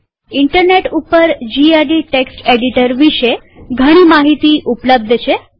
internet ઉપર gedit text editor વિષે ઘણી માહિતી ઉપલબ્ધ છે